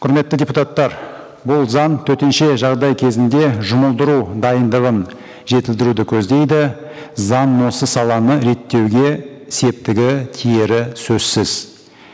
құрметті депутаттар бұл заң төтенше жағдай кезінде жұмылдыру дайындығын жетілдіруді көздейді заң осы саланы реттеуге септігі тиері сөзсіз